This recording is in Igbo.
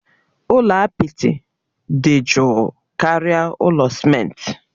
Ụlọ apịtị dị jụụ karịa ụlọ simenti.